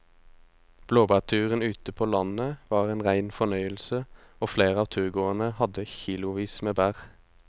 Blåbærturen ute på landet var en rein fornøyelse og flere av turgåerene hadde kilosvis med bær.